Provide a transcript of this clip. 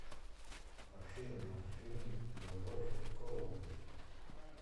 афина фильм любовь и голуби